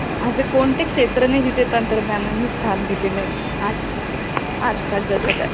असे कोणतेच क्षेत्र नाही जिथे तंत्रज्ञानाने स्थान दिले नाही आज आज कालच्या जगात